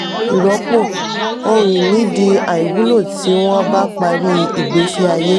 ìrọ́pò: ohun ìní di aìwúlò tí wọ́n bá parí ìgbésí ayé.